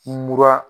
Mura